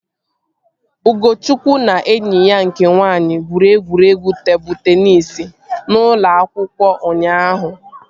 Ugochukwu na enyi ya nke nwaanyị gwuru egwuregwu tebụl teenis n'ụlọ akwụkwọ ụnyaahụ